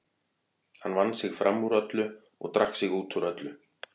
Hann vann sig fram úr öllu og drakk sig út úr öllu.